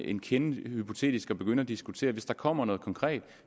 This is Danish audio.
en kende hypotetisk at begynde at diskutere hvis der kommer noget konkret